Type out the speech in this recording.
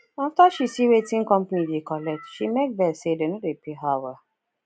after she see wetin company dey collect she make vex say dem no dey pay her well